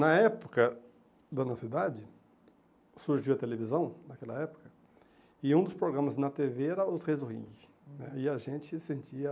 Na época da nossa idade, surgiu a televisão, naquela época, e um dos programas na tê vê era Os Reis do Ringue né, e a gente sentia